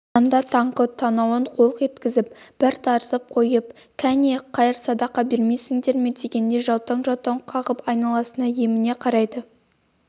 санда таңқы танауын қолқ еткізіп бір тартып қойып кәне қайыр-садақа бермейсіңдер ме дегендей жаутаң-жаутаң қағып айналасына еміне қарайды